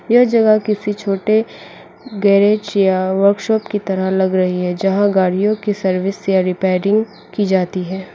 यह जगह किसी छोटे गेरेज या वर्कशॉप की तरह लग रही है जहां गाड़ियों की सर्विस या रिपेयरिंग की जाती है।